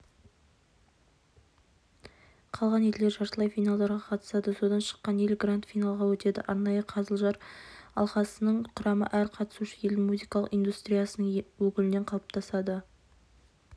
қалған елдер жартылай финалдарға қатысады содан шыққан ел гранд-финалға өтеді арнайы қазылар алқасының құрамы әр қатысушы елдің музыкалық индустриясының өкілінен қалыптасады